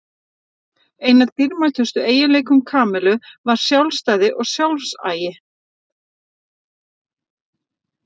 Einn af dýrmætustu eiginleikum Kamillu var sjálfstæði og sjálfsagi.